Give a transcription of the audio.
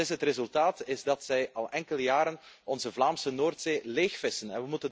Het resultaat is dat zij al enkele jaren onze Vlaamse Noordzee leegvissen.